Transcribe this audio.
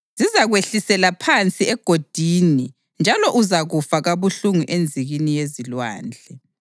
Zizakwehlisela phansi egodini, njalo uzakufa kabuhlungu enzikini yezilwandle.